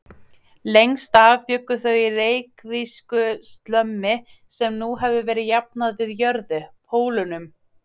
Lengst af bjuggu þau í reykvísku slömmi sem nú hefur verið jafnað við jörðu: Pólunum.